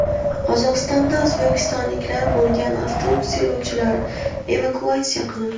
Qozog‘istonda o‘zbekistonliklar bo‘lgan avtobus yo‘lovchilari evakuatsiya qilindi.